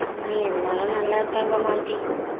எல்லோரும் நல்லா இருக்காங்க மாலதி.